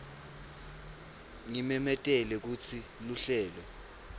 ngimemetele kutsi luhlelo